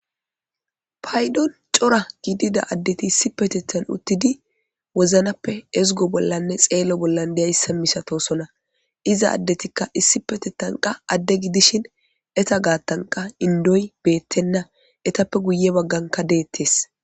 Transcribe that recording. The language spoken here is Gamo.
Paydon cora gidida addeti issi petetan uttidi woznappe ezgo bollanne xeello bollan deyayssa misatosona iza addetikka issi petetanqa adde gidishin eta gaattanqa indoy beettenna etappe guye bagganka deettes.